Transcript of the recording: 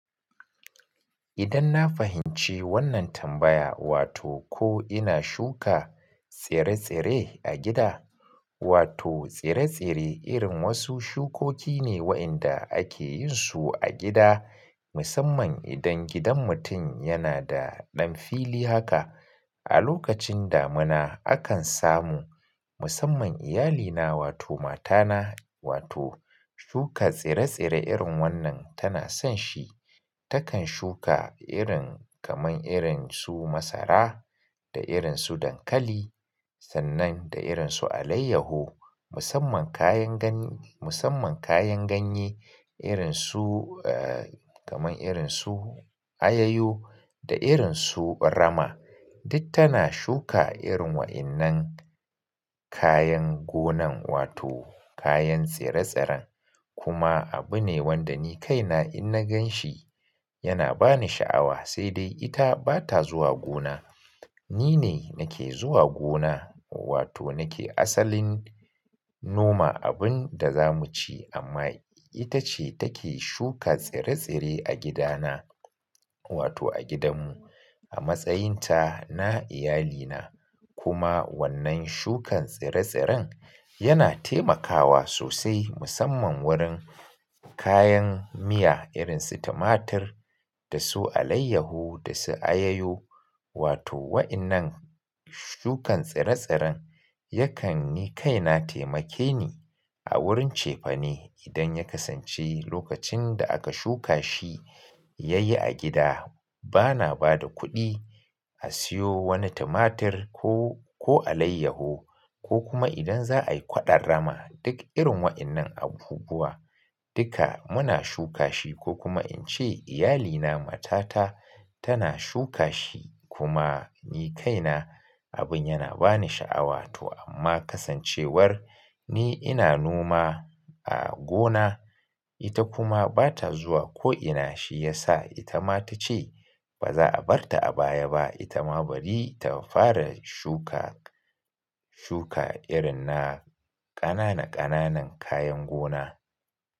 Idan na fahimci wannan tambaya wato ko ina shuka tsire-tsire a gida, wato tsire-tsire irin wasu shukoki ne waɗanda ake yin su a gida musamman idan gidan mutum yana da ɗan fili haka. A lokacin damina akan samu musamman iyalina wato matana wato, shuka tsire-tsire irin wannan tana son shi. Takan shuka irin kamar irin su masara da irin su dankali, sannan da irin su alayyahu musamman kayan ganye, musamman kayan ganye irin su, eh, kamar irin su ayayo da irin su rama. Duk tana shuka irin waɗannan kayan gonan wato kayan tsire-tsiren. Kuma abu ne wanda ni kaina in na gan shi yana ba ni sha'awa, sai dai ita bata zuwa gona. Ni ne nake zuwa gona wato nake asalin noma abin da za mu ci amma ita ce take shuka tsire-tsire a gidana, wato a gidanmu. A matsayin ta na iyalina kuma wannan shukan tsire-tsiren yana taimakawa sosai musamman wurin kayan miya irin su tumatir da su alayyahu da su ayayo. Wato waɗannan shukan tsire-tsiren yakan ni kaina taimake ni, a wurin cefane idan ya kasance lokacin da aka shuka shi yayi a gida. Bana bada kuɗi a siyo wani tumatir ko, ko alayyahu. Ko kuma idan za a yi kwaɗon rama duk irin waɗannan abubuwa duka muna shuka shi ko kuma in ce iyalina matata, tana shuka shi kuma ni kaina, abin yana ba ni sha'awa to amma kasancewar ni ina noma a gona, ita kuma bata zuwa ko ina shi ya sa ita ma ta ce baza a bar ta a baya ba. Ita ma bari ta fara shuka, shuka irin na ƙanana ƙananan kayan gona.